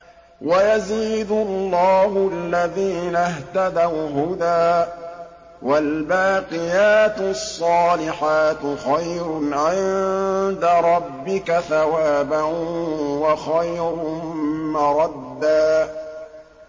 وَيَزِيدُ اللَّهُ الَّذِينَ اهْتَدَوْا هُدًى ۗ وَالْبَاقِيَاتُ الصَّالِحَاتُ خَيْرٌ عِندَ رَبِّكَ ثَوَابًا وَخَيْرٌ مَّرَدًّا